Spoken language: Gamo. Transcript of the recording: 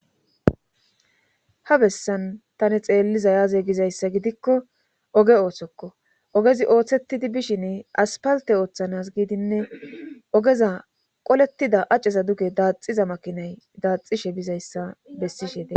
ha bessan tani xeelliza yaaze gizayssa gidikko oge ooththokko ogezi ooththettidi bishin aspalte ooththanas giidinne ogeza qolettida acceza duge daaxiza makinay daaxishe bizayssa bessishe de